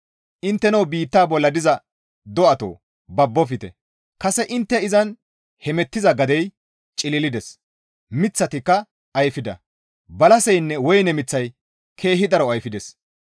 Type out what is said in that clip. Intteno biitta bolla diza do7atoo babbofte; kase intte izan heemettiza gadey cililides; miththatikka ayfida; balaseynne woyne miththay keehi daro ayfides.